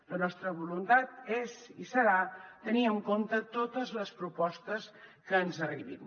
la nostra voluntat és i serà tenir en compte totes les propostes que ens arribin